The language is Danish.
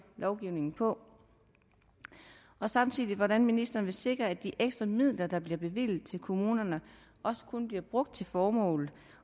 lovgivningen på samtidig vil hvordan ministeren vil sikre at de ekstra midler der bliver bevilget til kommunerne også kun bliver brugt til formålet